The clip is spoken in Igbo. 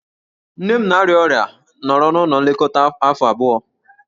Nne nne m na-arịa ọrịa nọrọ n'ụlọ nlekọta afọ abụọ.